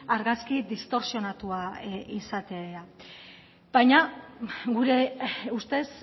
argazki distorsionatua izatea gure ustez